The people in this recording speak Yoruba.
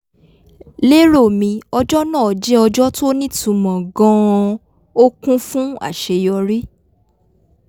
lero mi ọjọ́ náà jẹ́ ọjọ́ tó nítumọ̀ gan-an ó kún fún àṣeyọrí